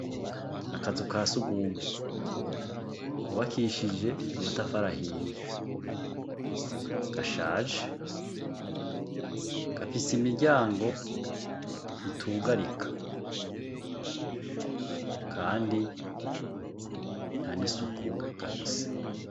Akazu ka sugumwe kubakishije amatafari ahiye gashaje. Gafise imiryango itugarika, kandi nta n'isuku gafise.